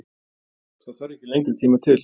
Það þarf ekki lengri tíma til?